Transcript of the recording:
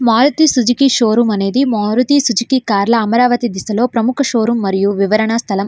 Maruti Suzuki showroom అనేది Maruti Suzuki showroom car లా అమరావతి దిశలో ప్రముఖ షోరూమ్ వివరణ స్థలం.